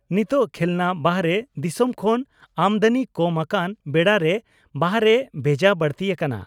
ᱱᱤᱛᱚᱜ ᱠᱷᱮᱞᱱᱟ ᱵᱟᱦᱟᱨᱮ ᱫᱤᱥᱚᱢ ᱠᱷᱚᱱ ᱟᱢᱫᱟᱹᱱᱤ ᱠᱚᱢ ᱟᱠᱟᱱ ᱵᱮᱲᱟᱨᱮ ᱵᱟᱦᱟᱨᱮ ᱵᱷᱮᱡᱟ ᱵᱟᱹᱲᱛᱤ ᱟᱠᱟᱱᱟ ᱾